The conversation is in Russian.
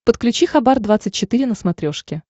подключи хабар двадцать четыре на смотрешке